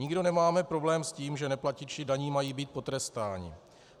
Nikdo nemáme problém s tím, že neplatiči daní mají být potrestáni.